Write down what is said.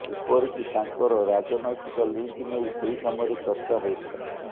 ଏପରିକି ତାଙ୍କର ରାଜନୈତିକ ଲିଙ୍କ୍ ନେଇ ସେହି ସମୟରେ ଚର୍ଚ୍ଚା ହେଉଥିଲା